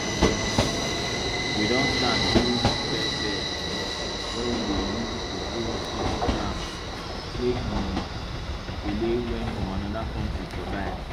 we don start use bed bed wey we dey use to grow small plants make the kale wey from another country survive